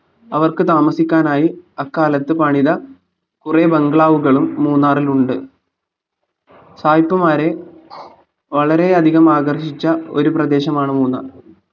അവർക്ക് താമസിക്കാനായി അക്കാലത്ത് പണിത കുറെ bangalow കളും മൂന്നാറിലുണ്ട് സായിപ്പന്മാരെ വളരെയധികം ആകർഷിച്ച ഒരു പ്രദേശമാണ് മൂന്നാർ